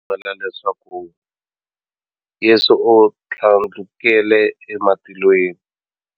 Va pfumela leswaku Yesu u thlandlukele ematilweni,